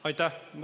Aitäh!